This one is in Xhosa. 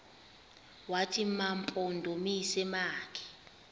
wathi mampondomise makhe